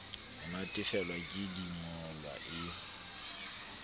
ho natefelwa ke dingolwa e